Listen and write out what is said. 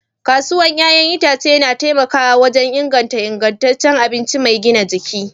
Kasuwar 'ya'yan itace na taimakawa wajen inganta ingantaccen abinci mai gina jiki.